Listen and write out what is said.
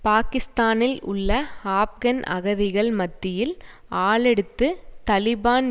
பாக்கிஸ்தானில் உள்ள ஆப்கன் அகதிகள் மத்தியில் ஆளெடுத்து தலிபான்